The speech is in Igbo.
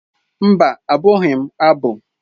Mba, agụghị m abụ.